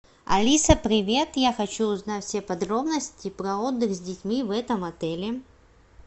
алиса привет я хочу узнать все подробности про отдых с детьми в этом отеле